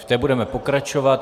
V té budeme pokračovat.